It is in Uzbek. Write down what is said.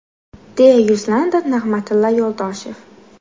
deya yuzlandi Nig‘matilla Yo‘ldoshev.